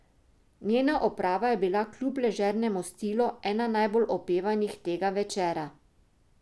Njena oprava je bila kljub ležernemu stilu ena najbolj opevanih tega večera.